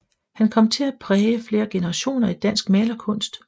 Han kom til at præge flere generationer i dansk malerkunst